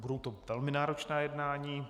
Budou to velmi náročná jednání.